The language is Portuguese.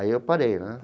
Aí eu parei, né?